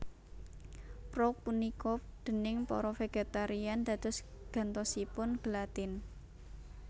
Prouk punika déning para vegetarian dados gantosipun gelatin